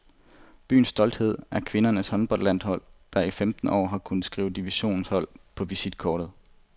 Byens stolthed er kvindernes håndboldhold, der i femten år har kunnet skrive divisionshold på visitkortet.